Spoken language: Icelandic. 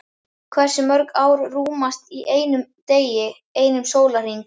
Hversu mörg ár rúmast í einum degi, einum sólarhring?